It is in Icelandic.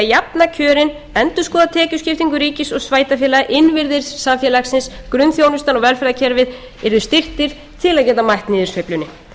jafna kjörin endurskoða tekjuskiptingu ríkis og sveitarfélaga innviðir samfélagsins grunnþjónustan og velferðarkerfi yrðu styrktir til að geta mætt niðursveiflunni háttvirtur þingmaður pétur h blöndal